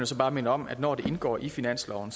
så bare minde om at når det indgår i finansloven